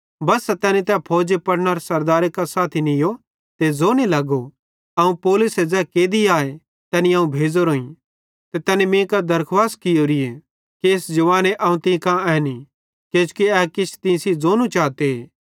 बस्सा तैनी तै फौजी पलटनरे सरदारे कां साथी नीयो ते ज़ोने लगो अवं पौलुसे ज़ै कैदी आए तैनी अवं कुजाव ते तैनी मीं कां दरखुवास कियोरीए कि इस जवाने अवं तीं कां एन्ही किजोकि ए किछ तीं सेइं ज़ोनू चाते